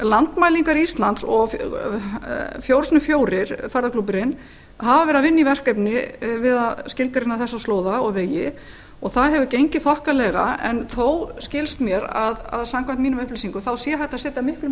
landmælingar íslands og fjórir sinnum fjórir ferðaklúbburinn hafa verið að vinna í verkefni við að skilgreina þessa slóða og vegi og það hefur gengið þokkalega en þó skilst mér að samkvæmt mínum upplýsingum sé hægt að setja miklu